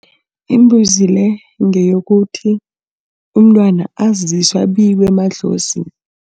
Imbuzi le, ngeyokuthi umntwana aziswe abikwe emadlozini.